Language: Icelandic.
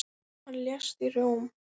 Hann lést í Róm.